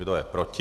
Kdo je proti?